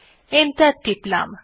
enter টিপলাম